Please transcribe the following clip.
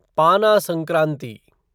पाना संक्रांति